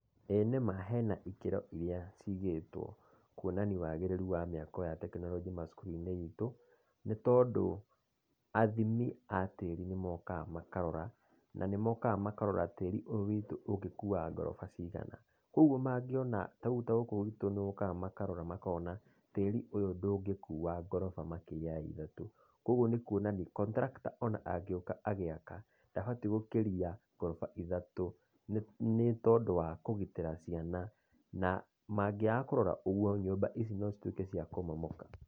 Ĩĩ nĩma hena ikĩro iria ciigĩtwo kuonania wagĩrĩrũ wa mĩako ya tekinoronjĩ macukuru-inĩ itũ, nĩ tondũ athimi a tĩri nĩ mokaga makarora, nĩ mokaga makarora tĩri ũyu witũ ũngĩkuwa ngoroba cigana. Koguo mangiona, tarĩu gũkũ gwitũ nĩ mokaga makarora makona atĩ, tĩri ũyũ ndũngĩkua ngoroba makĩria ya ithatũ. Koguo nĩ kuonania, contractor angĩũka agĩaka, ndabatiĩ gũkĩria ngoroba ithatũ, nĩ tondũ wa kũgitĩra ciana. Na mangĩaga kũrora ũguo, nyũmba ici no cituĩke cia kũmomoka.